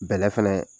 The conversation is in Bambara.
Bɛlɛ fɛnɛ